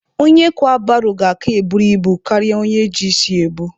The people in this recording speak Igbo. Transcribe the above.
Onye kwa baro ga-aka buru ibu karịa onye ji isi ya ebu.